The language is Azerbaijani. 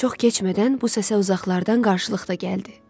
Çox keçmədən bu səsə uzaqlardan qarşılıq da gəldi.